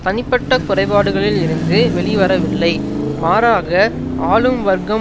தனிப்பட்ட குறைபாடுகளில் இருந்து வெளிவரவில்லை மாறாக ஆளும் வர்க்கம்